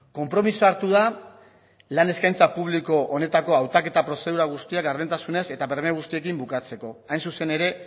konpromisoa hartu da lan eskaintza publiko honetako hautaketa prozedura guztiak gardentasunez eta berme guztiekin bukatzeko hain zuzen ere